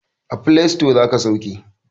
A filasito zaka sauke